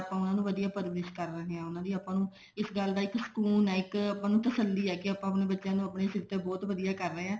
ਆਪਾਂ ਉਹਨੂੰ ਵਧੀਆ ਪਰਵਰਿਸ਼ ਕਰਦਵਾਂਗੇ ਉਹਨਾ ਦੀ ਆਪਾਂ ਇਸ ਗੱਲ ਦਾ ਇੱਕ ਸਕੂਨ ਹੈ ਇੱਕ ਆਪਾਂ ਨੂੰ ਤਸੱਲੀ ਹੈ ਕੇ ਆਪਾਂ ਆਪਣੇ ਬੱਚਿਆਂ ਨੂੰ ਆਪਣੇ ਸਿਰ ਤੇ ਬਹੁਤ ਵਧੀਆ ਕਰ ਰਹੇ ਹਾਂ